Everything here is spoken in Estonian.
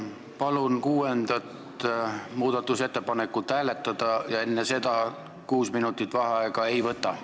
Palun kuuendat muudatusettepanekut hääletada ja enne seda kuut minutit vaheaega ei võta.